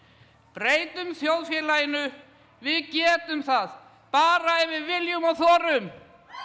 breytum þjóðfélaginu við getum það bara ef við viljum og þorum